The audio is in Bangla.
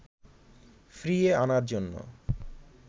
ফিরিয়ে আনার জন্য